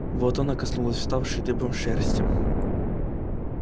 вот она коснулась вставшей дыбом шерсти